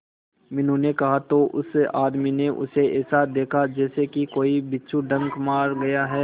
मीनू ने कहा तो उस आदमी ने उसे ऐसा देखा जैसे कि कोई बिच्छू डंक मार गया है